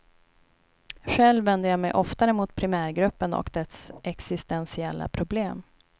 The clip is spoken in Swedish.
Själv vänder jag mig oftare mot primärgruppen och dess existentiella problem.